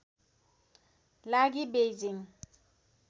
लागि बेइजिङ